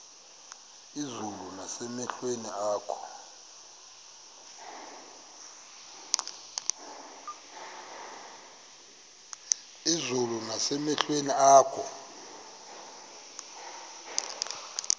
izulu nasemehlweni akho